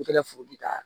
I kɛla fodi ka